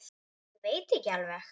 Ég veit ekki alveg.